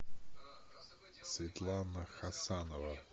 светлана хасанова